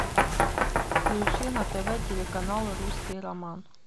включи на тв телеканал русский роман